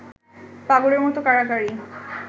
পাগলের মত কাড়াকাড়ি